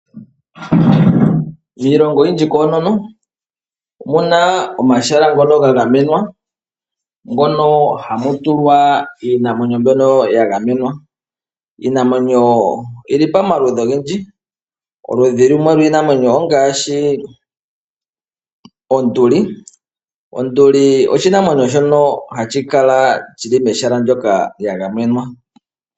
Miilongo oyindji omu na omahala ngono ga gamenwa mono hamu tulwa iinamwenyo mbyono ya gamenwa. Iinamwenyo mbyono oyi li pamaludhi ogendji. Oludhi lumwe lwiinamwenyo ongaashi onduli. Onduli oshinamwenyo shono hashi kala mehala ndyoka lya gamenwa.